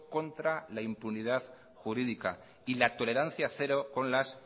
contra la impunidad jurídica y la tolerancia cero con las